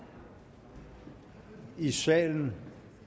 i salen